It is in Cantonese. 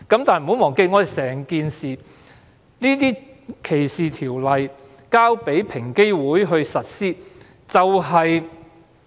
但是，不要忘記，歧視條例由平機會實施。